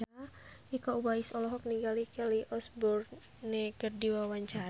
Iko Uwais olohok ningali Kelly Osbourne keur diwawancara